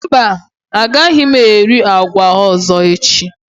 Mba, agaghị m eri agwa ọzọ echi.